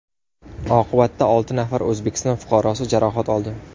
Oqibatda olti nafar O‘zbekiston fuqarosi jarohat oldi.